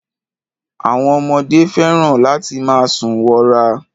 Àwọn ọmọdé fẹ́ràn láti máa sùn wọra.